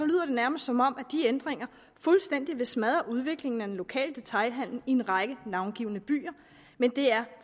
lyder det nærmest som om de ændringer fuldstændig vil smadre udviklingen af den lokale detailhandel i en række navngivne byer men det er